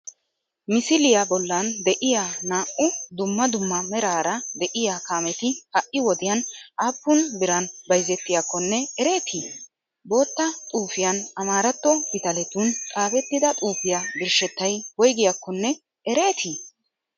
misiliya bollan de'iya naa'u duummaa duummaa meraara de'iya kaametti ha'i wodiyan appun biran bayzettiyakkonne ereeti? bottaa xufiyan ammaratto pitaleetun xafetida xufiya birshshettay woygiyakkone ereeti?